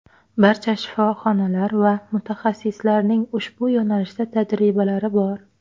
Barcha shifoxonalar va mutaxassislarning ushbu yo‘nalishda tajribalari bor.